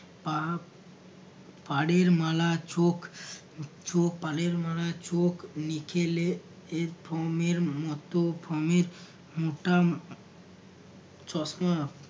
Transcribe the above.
পাপ পাড়ের মালা চোখ চোখ পাড়ের মালার চোখ নিখেলে এর ফমের মতো ফমের মোটা চশমা